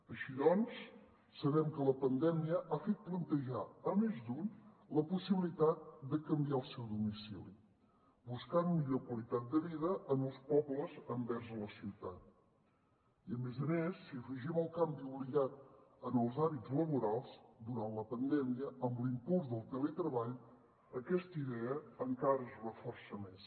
així doncs sabem que la pandèmia ha fet plantejar a més d’un la possibilitat de canviar el seu domicili buscant millor qualitat de vida en els pobles envers la ciutat i a més a més si hi afegim el canvi obligat en els hàbits laborals durant la pandèmia amb l’impuls del teletreball aquesta idea encara es reforça més